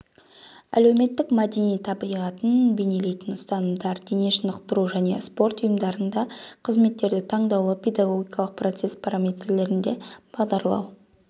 әлеуметтік-мәдени табиғатын бейнелейтін ұстанымдар дене шынықтыру және спорт ұйымдарында қызметтерді таңдаулы педагогикалық процесс параметрлеріне бағдарлау